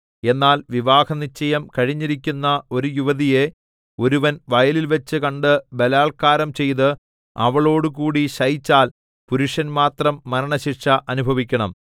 എന്നാൽ വിവാഹനിശ്ചയം കഴിഞ്ഞിരിക്കുന്ന ഒരു യുവതിയെ ഒരുവൻ വയലിൽവച്ച് കണ്ട് ബലാൽക്കാരം ചെയ്ത് അവളോടുകൂടി ശയിച്ചാൽ പുരുഷൻ മാത്രം മരണശിക്ഷ അനുഭവിക്കണം